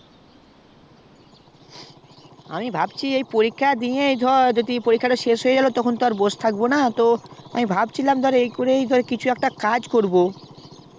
আমি ভাবছি এই পরীক্ষা দিয়েই ধর পরীক্ষাটা শেষ হইয়া গেলো তখন তো আর বসে থাকবোনা তো আমি ভাবছিলাম কিছু একটা কাজ করবো